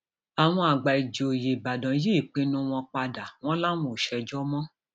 àwọn àgbà um ìjòyè ìbàdàn yí ìpinnu ìpinnu wọn padà wọn láwọn ò ṣèjọ um mọ